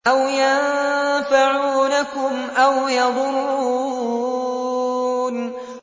أَوْ يَنفَعُونَكُمْ أَوْ يَضُرُّونَ